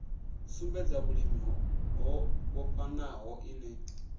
sumbedza vhulimi ho vhofhanaho ine